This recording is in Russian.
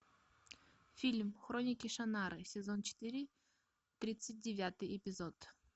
фильм хроники шаннары сезон четыре тридцать девятый эпизод